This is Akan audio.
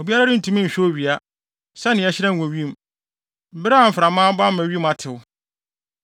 Obiara rentumi nhwɛ owia, sɛnea ɛhyerɛn wɔ wim bere a mframa abɔ ama wim atew.